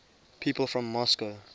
people from moscow